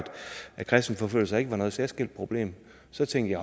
at kristenforfølgelser ikke var noget særskilt problem så tænkte